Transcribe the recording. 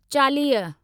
चालीह